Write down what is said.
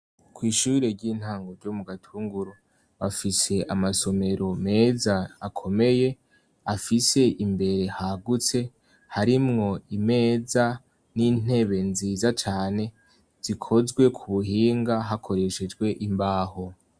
Kw'ishure ry'intango ryo mu Gatunguru bafise amasomero meza akomeye afise imbere hagutse harimwo imeza n'intebe nziza cane zikozwe ku buhinga hakoreshejwe imbaho.